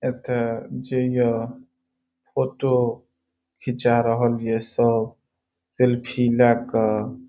एक जेई फोटो खींचा रहलीये सब सेल्फी ले कर।